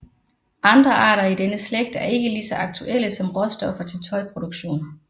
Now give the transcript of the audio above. Andre arter i denne slægt er ikke lige så aktuelle som råstoffer til tøjproduktion